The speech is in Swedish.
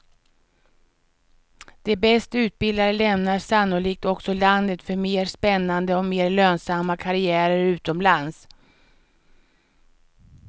De bäst utbildade lämnar sannolikt också landet för mer spännande och mer lönsamma karriärer utomlands.